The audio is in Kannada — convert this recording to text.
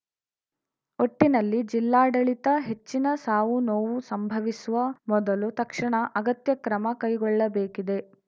ಒಟ್ಟಿನಲ್ಲಿ ಜಿಲ್ಲಾಡಳಿತ ಹೆಚ್ಚಿನ ಸಾವು ನೋವು ಸಂಭವಿಸುವ ಮೊದಲು ತಕ್ಷಣ ಅಗತ್ಯ ಕ್ರಮ ತೆಗೆದುಕೊಳ್ಳಬೇಕಿದೆ